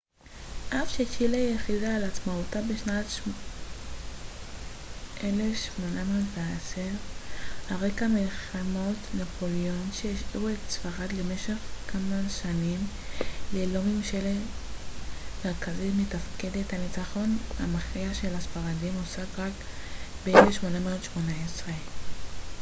אף שצ'ילה הכריזה על עצמאותה בשנת 1810 על רקע מלחמות נפוליאון שהשאירו את ספרד למשך כמה שנים ללא ממשלה מרכזית מתפקדת הניצחון המכריע על הספרדים הושג רק ב-1818